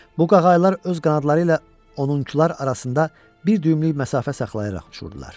Bu qağaylar öz qanadları ilə onunkular arasında bir düymlük məsafə saxlayaraq uçurdular.